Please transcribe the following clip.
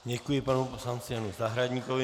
Děkuji panu poslanci Janu Zahradníkovi.